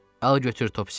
Al götür Topci.